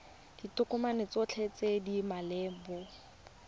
ditokomane tsotlhe tse di maleba